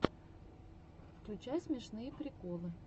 включай смешные приколы